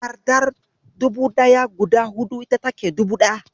Takardar dubu ɗaya guda hudu ita take dubu ɗaya.